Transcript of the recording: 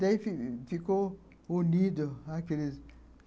Daí ficou unido.